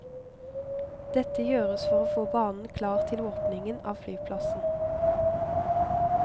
Dette gjøres for å få banen klar til åpningen av flyplassen.